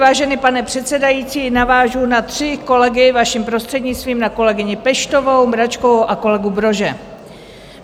Vážený pane předsedající, navážu na tři kolegy, vaším prostřednictvím, na kolegyni Peštovou, Mračkovou a kolegu Brože.